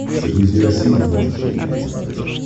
загрузи россия двадцать четыре на смотрешке